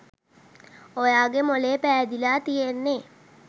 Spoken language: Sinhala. ඔයාගේ මොළේ පෑදිලා තියෙන්නෙ.